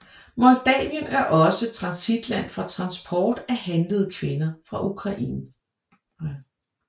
Moldavien er også transitland for transport af handlede kvinder fra Ukraine